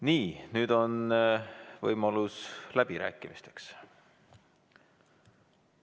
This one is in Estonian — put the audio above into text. Nii, nüüd on võimalus läbirääkimisteks.